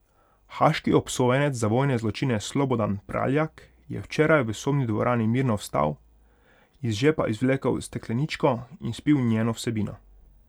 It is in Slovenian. Haaški obsojenec za vojne zločine Slobodan Praljak je včeraj v sodni dvorani mirno vstal, iz žepa izvlekel stekleničko in spil njeno vsebino.